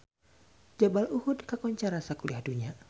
Jabal Uhud kakoncara sakuliah dunya